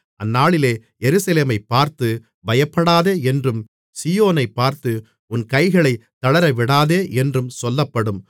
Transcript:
அந்நாளிலே எருசலேமைப் பார்த்து பயப்படாதே என்றும் சீயோனைப் பார்த்து உன் கைகளைத் தளரவிடாதே என்றும் சொல்லப்படும்